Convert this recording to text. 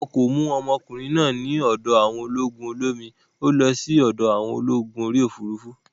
Wọn kò mú ọmọkùnrin náà ní ọ̀dọ̀ àwọn ológun olómi, ó lọ sí ọ̀dọ̀ àwọn ológun orí òfurufú